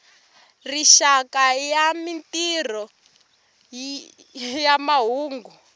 rixaka ya mintirho ya mahungu